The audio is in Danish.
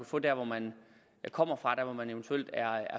få der hvor man kommer fra der hvor man eventuelt er